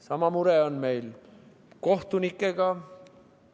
Sama mure on meil kohtunikega.